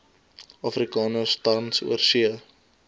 afrikaners tans oorsee